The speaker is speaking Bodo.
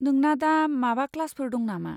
नोंना दा माबा क्लासफोर दं नामा?